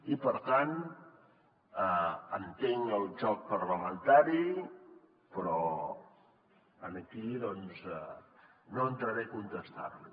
i per tant entenc el joc parlamentari però aquí doncs no entraré a contestar li